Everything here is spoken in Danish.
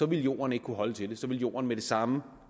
ville jorden ikke kunne holde til det så ville jorden med det samme